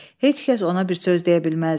Heç kəs ona bir söz deyə bilməzdi.